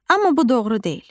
Amma bu doğru deyil.